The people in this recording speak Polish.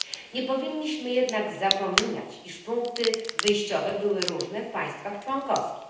Nie powinniśmy jednak zapominać, iż punkty wyjściowe były różne w państwach członkowskich.